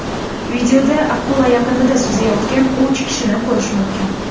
Videoyozuvda akula yaqinida suzayotgan uch kishini ko‘rish mumkin.